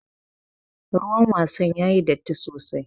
Ruwan wasan yayi datti sosai.